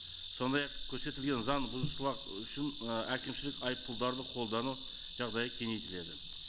сондай ақ көрсетілген заң бұзушылық үшін ы әкімшілік айыппұлдарды қолдану жағдайы кеңейтіледі